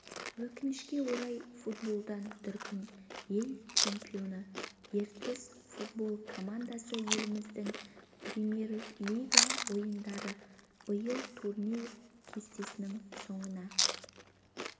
өкінішке орай футболдан дүркін ел чемпионы ертіс футбол командасы еліміздің премьер-лига ойындарында биыл турнир кестесінің соңына